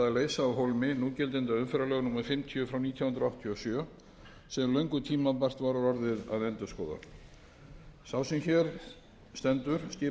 af hólmi núgildandi umferðarlög númer fimmtíu nítján hundruð áttatíu og sjö sem löngu tímabært var orðið að endurskoða sá sem hér stendur skipaði nefnd undir